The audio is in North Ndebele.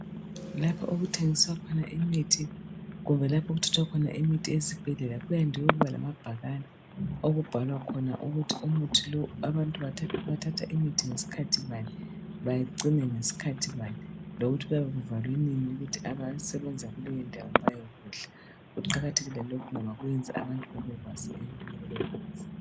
Lapho okuthengiswa khona imithi kumbe lapho okuthathwa khona imithi esibhedlela kuyande ukuba lamabhakane okubhalwa khona ukuthi umuthi lo abantu bathatha imithi ngesikhathi bani bacine ngesikhathi bani lokuthi kuyabe kuvalwe nini ukuthi abasebenzayo kuleyindawo bayekudla. Kuqakathekile lokhu ngoba kwenza abantu babekwazi.